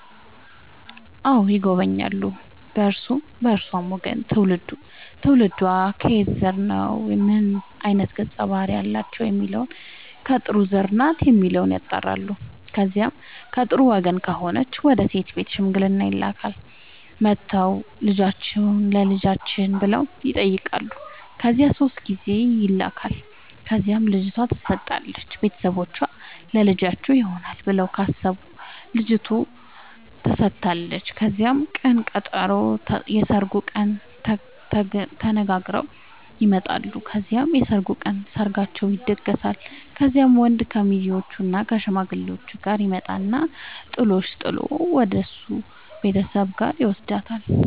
አዎ ይጎበኛሉ በእርሱም በእርሷም ወገን ትውልዱ ትውልዷ ከማን ዘር ነው ምን አይነት ገፀ ባህርያት አላቸው የሚለውን ከጥሩ ዘር ናት የሚለውን ያጣራሉ። ከዚያ ከጥሩ ወገን ከሆነች ወደ ሴት ቤት ሽምግልና ይላካል። መጥተው ልጃችሁን ለልጃችን ብለው ይጠያቃሉ ከዚያ ሶስት ጊዜ ይላካል ከዚያም ልጅቷ ትሰጣለች ቤተሰቦቿ ለልጃችን ይሆናል ብለው ካሰቡ ልጇቷ ተሰጣለች ከዚያም ቅን ቀጠሮ የስርጉን ቀን ተነጋግረው ይመጣሉ ከዚያም የሰርጉ ቀን ሰርጋቸው ይደገሳል። ከዚያም ወንድ ከሙዜዎችእና ከሽማግሌዎቹ ጋር ይመጣና ጥሎሽ ጥል ወደሱ ቤተሰቦች ጋር ይውስዳታል።